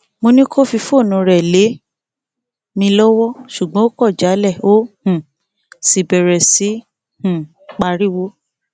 mo ní kó fi fóònù rẹ lé mi lọwọ ṣùgbọn ó kọ jálẹ ó um sì bẹrẹ sí í um pariwo